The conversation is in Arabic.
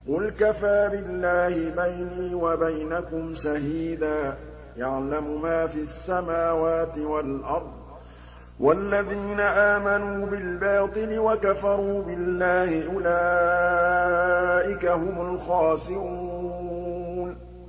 قُلْ كَفَىٰ بِاللَّهِ بَيْنِي وَبَيْنَكُمْ شَهِيدًا ۖ يَعْلَمُ مَا فِي السَّمَاوَاتِ وَالْأَرْضِ ۗ وَالَّذِينَ آمَنُوا بِالْبَاطِلِ وَكَفَرُوا بِاللَّهِ أُولَٰئِكَ هُمُ الْخَاسِرُونَ